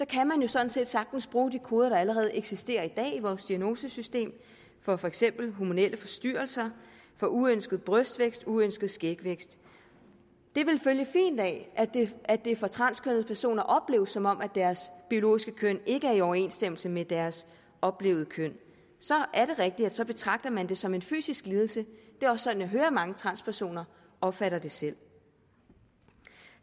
kan man jo sådan set sagtens bruge de koder der allerede eksisterer i dag i vores diagnosesystem for for eksempel hormonelle forstyrrelser for uønsket brystvækst uønsket skægvækst det ville følge fint af at det for transkønnede personer opleves som om deres biologiske køn ikke er i overensstemmelse med deres oplevede køn så er det rigtigt at så betragter man det som en fysisk lidelse det er også sådan jeg hører mange transpersoner opfatter det selv